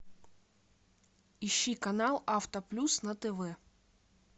ищи канал авто плюс на тв